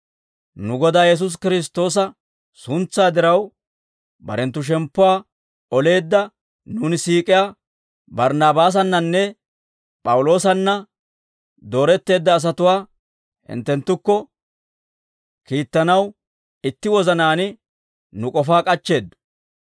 nu Godaa Yesuusi Kiristtoosa suntsaa diraw, barenttu shemppuwaa oleedda nuuni siik'iyaa Barnnaabaasannanne P'awuloosanna dooretteedda asatuwaa hinttenttukko kiittanaw itti wozanaan nu k'ofaa k'achcheeddo.